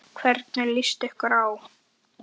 Hvernig líst ykkur á?